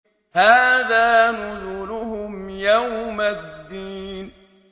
هَٰذَا نُزُلُهُمْ يَوْمَ الدِّينِ